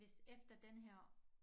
Hvis efter denne her